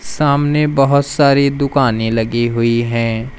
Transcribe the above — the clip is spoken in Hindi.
सामने बहोत सारी दुकानें लगी हुई है।